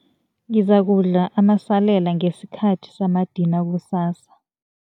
Ngizakudla amasalela ngesikhathi samadina kusasa.